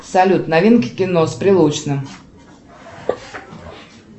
салют новинки кино с прилучным